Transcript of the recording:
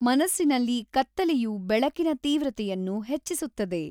ಮನಸ್ಸಿನಲ್ಲಿ ಕತ್ತಲೆಯು ಬೆಳಕಿನ ತೀವ್ರತೆಯನ್ನು ಹೆಚ್ಚಿಸುತ್ತದೆ